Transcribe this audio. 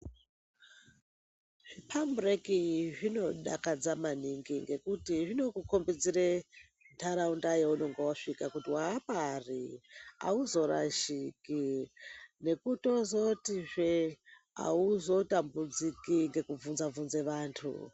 Zvipambureki zvinodakadza maningi ngekuti zvinokukombidzire nharaunda yaunonga vasvika kuti vapari hauzorashiki. Nekutozotizve hauzotambudziki ngekubvunze-bvunze vantu.